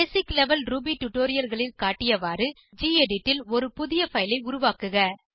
பேசிக் level Ruby டுடோரியல்களில் காட்டியவாறு gedit ல் ஒரு புதிய பைல் ஐ உருவாக்குக